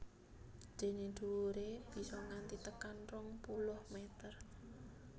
Dené dhuwuré bisa nganti tekan rong puluh mèter